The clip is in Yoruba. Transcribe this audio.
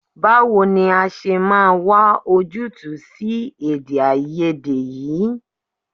Báwo ni a ṣe máa wà ojútùú sí èdèàìyedè yìí?